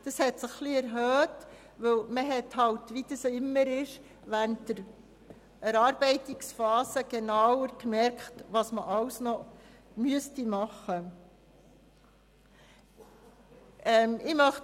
Die Schätzung hat sich erhöht, weil – wie das immer ist – während der Erarbeitungsphase genauer festgestellt werden konnte, was alles noch gemacht werden müsste.